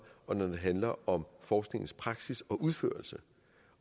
og når det handler om forskningens praksis og udførelse